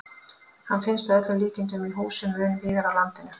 Hann finnst að öllum líkindum í húsum mun víðar á landinu.